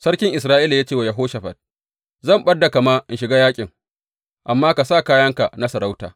Sarkin Isra’ila ya ce wa Yehoshafat, Zan ɓad da kama in shiga yaƙin, amma ka sa kayanka na sarauta.